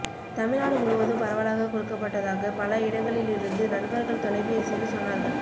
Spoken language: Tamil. தமிழ் நாடு முழுவதும் பரவலாக கொடுக்கப் பட்டதாக பல இடங்களிலிருந்து நண்பர்கள் தொலை பேசியில் சொன்னார்கள்